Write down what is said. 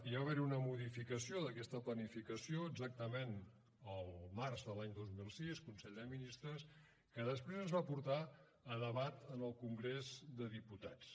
va haver hi una modificació d’aquesta planificació exactament el març de l’any dos mil sis consell de ministres que després es va portar a debat en el congrés dels diputats